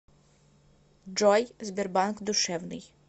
джой сбербанк душевный